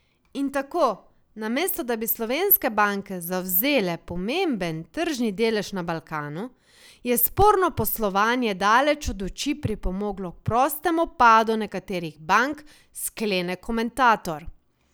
In tako, namesto da bi slovenske banke zavzele pomemben tržni delež na Balkanu, je sporno poslovanje daleč od oči pripomoglo k prostemu padu nekaterih bank, sklene komentator.